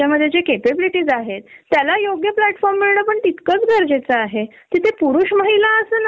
तुम्ही जॉब करता तुम्ही व्यवस्थित काम करता, तुमच्या नावाच्या बाय लॉ तुम्हाला सुट्ट्या आहेत.